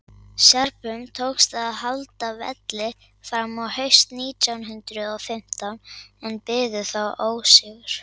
serbum tókst að halda velli fram á haust nítján hundrað og fimmtán en biðu þá ósigur